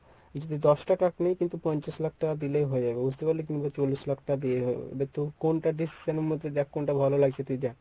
যদি দশটা truck নেই কিন্তু পঞ্চাশ লাখ টাকা দিলেই হয়ে যাবে বুঝতে পারলি কিংবা চল্লিশ লাখ টাকা দিয়েই কোনটা দেখ কোনটা ভালো লাগছে তুই দেখ।